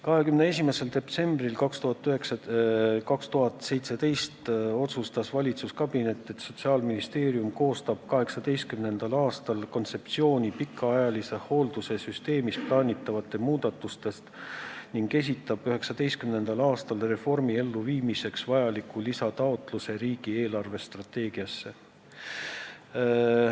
21. detsembril 2017 otsustas valitsuskabinet, et Sotsiaalministeerium koostab 2018. aastal kontseptsiooni pikaajalise hoolduse süsteemis plaanitavatest muudatustest ning esitab 2019. aastal reformi elluviimiseks vajaliku lisataotluse riigi eelarvestrateegiat arutades.